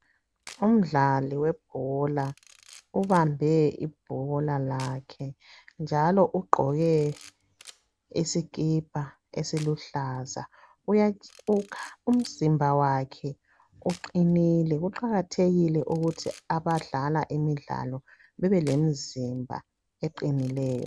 Umdlali webhola ubambe ibholalakhe, njalo ugqoke isikipa esiluhlaza. Umzimba wakhe uqinile. Kuqakathekile ukuthi abadlala imidlalo bebelemizimba eqinileyo.